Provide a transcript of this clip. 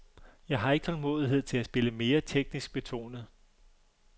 Jeg har ikke tålmodighed til at spille mere teknisk betonet.